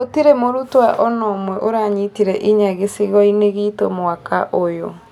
Gũtire mũrutwo ona ũmwe ũranyitire inya gĩcigo-inĩ gitu mwaka ũyũ